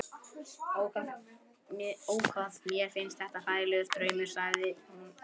Ó, hvað mér finnst þetta hræðilegur draumur, sagði hún